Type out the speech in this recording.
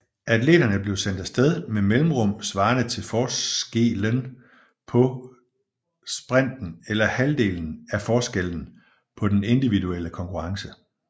Atleterne bliver sendt af sted med mellemrum svarende til forskelen på sprinten eller halvdelen af forskellen på den individuelle konkurrence